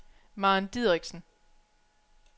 Maren Dideriksen